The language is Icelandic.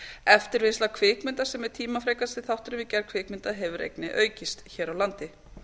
eftirvinnsla kvikmynda sem er tímafrekasti þátturinn við gerð kvikmynda hefur einnig aukist hér á landi